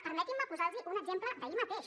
permetin me posar los un exemple d’ahir mateix